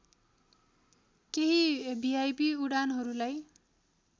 केही भिआइपी उडानहरूलाई